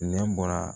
Nɛ bɔra